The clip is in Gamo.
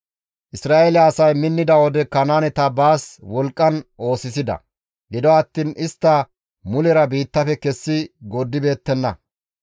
Isra7eele asay minnida wode Kanaaneta baas wolqqan oosisida; gido attiin istta mulera biittafe kessi gooddibeettenna.